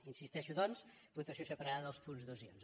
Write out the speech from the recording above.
hi insisteixo doncs votació separada dels punts dos i onze